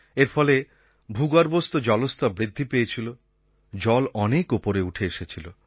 এর ফলে ভূগর্ভস্থ জলস্তর বৃদ্ধি পেয়েছিল জল অনেক ওপরে উঠে এসেছিল